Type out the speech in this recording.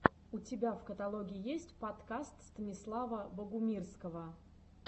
у тебя в каталоге есть подкаст станислава богумирского